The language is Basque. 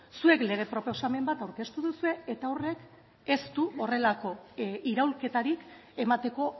zuek lege proposamen bat aurkeztu duzue eta horrek ez du horrelako iraulketarik emateko